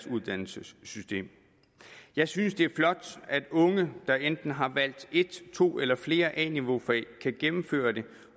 uddannelsessystemet jeg synes det er flot at unge der enten har valgt et to eller flere a niveau fag kan gennemføre det